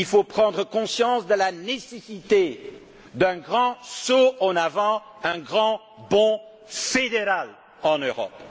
Il faut prendre conscience de la nécessité d'un grand saut en avant, d'un grand bond fédéral en Europe.